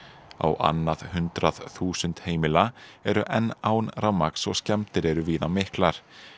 á annað hundrað þúsund heimila eru enn án rafmagns og skemmdir eru víða miklar